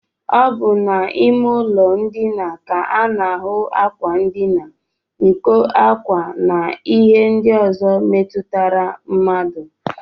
Ọ bụ n'ime ụlọndina ka a na-ahụ ákwà ndina, nkọ ákwá, na ihe ndị ọzọ metụtara mmadụ